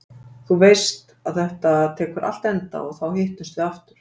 Þú veist að þetta tekur allt enda og þá hittumst við aftur.